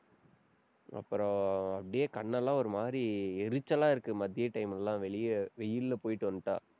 அப்புறம், அப்படியே கண்ணெல்லாம் ஒரு மாதிரி, எரிச்சலா இருக்கு, மதிய time ல எல்லாம் வெளிய வெயில்ல போயிட்டு வந்துட்டா